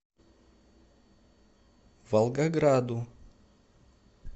волгограду